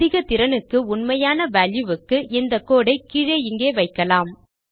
அதிக திறனுக்கு உண்மையான வால்யூ க்கு இந்த கோடு ஐ கீழே இங்கே வைக்கலாம்